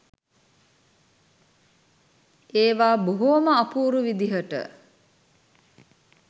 ඒවා බොහොම අපූරු විදිහට